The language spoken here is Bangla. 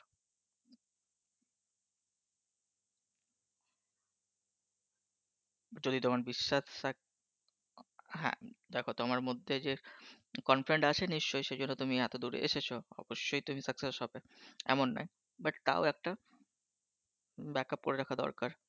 যদি তোমার বিশ্বাস থাকে. হ্যাঁ, দেখো তোমার মধ্যে যে আত্মবিশ্বাস আছে নিশ্চয়, সে জন্য তুমি এত দূর এসেছো। অবশ্যই তুমি success হবে এমন নয়, কিন্তু তাও একটা backup করে রাখা দরকার